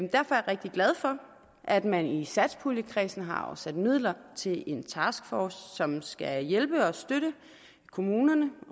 rigtig glad for at man i satspuljekredsen har afsat midler til en taskforce som skal hjælpe og støtte kommunerne